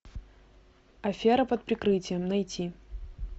афера под прикрытием найти